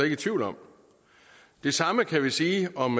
i tvivl om det samme kan vi sige om